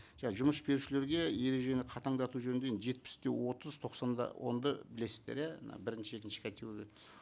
жұмыс берушілерге ережені қатаңдату жөнінде енді жетпіс те отыз тоқсан да онды білесіздер иә мына бірінші екінші категория